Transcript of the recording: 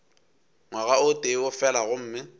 ngwaga o tee fela gomme